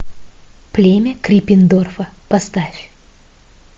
племя криппендорфа поставь